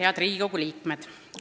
Head Riigikogu liikmed!